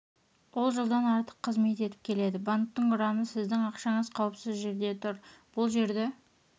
ол жылдан артық қызмет етіп келеді банктің ұраны сіздің ақшаңыз қауіпсіз жерде тұр бұл жерді